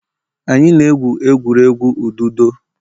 Anyị na-egwu egwuregwu ududo.